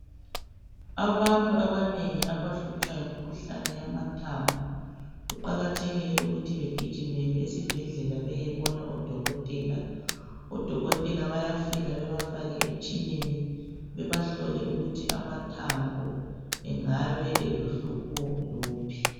Abantu abanengi abahlutshwa yimkhuhlane yamathambo, kuqakathekile ukuthi begijimele esibhedlela beyebona odokotela. Odokokotela bayafika bebafake emitshineni bebahlole ukuthi amathambo engabe elohlupho luphi.